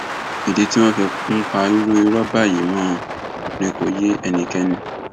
ìdí tí wọn fi ń pa irú irọ báyìí mọ ọn ni kò yé ẹnikẹni